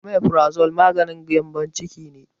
Amifurazol maganin gyambon ciki ne